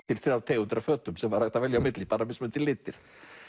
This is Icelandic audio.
þrjár tegundir af fötum sem var hægt að velja á milli bara mismunandi litir